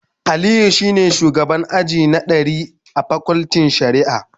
Aliyu shine shugaban aji a 100level pakultin shari'a